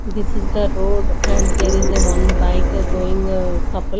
this is the road and there is a one bike going couple.